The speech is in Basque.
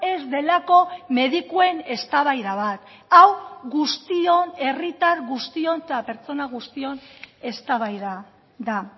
ez delako medikuen eztabaida bat hau guztion herritar guztion eta pertsona guztion eztabaida da